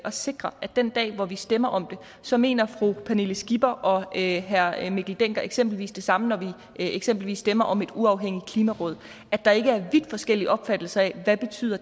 at sikre at den dag hvor vi stemmer om det så mener fru pernille skipper og herre mikkel dencker eksempelvis det samme når vi eksempelvis stemmer om et uafhængigt klimaråd at der ikke er vidt forskellige opfattelser af hvad det betyder